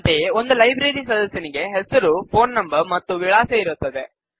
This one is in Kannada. ಅಂತೆಯೇ ಒಂದು ಲೈಬ್ರರಿ ಸದಸ್ಯನಿಗೆ ಹೆಸರು ಫೋನ್ ನಂಬರ್ ಮತ್ತು ವಿಳಾಸ ಇರುತ್ತದೆ